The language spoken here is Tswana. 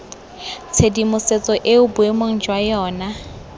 tshedimosetso eo boemong jwa yona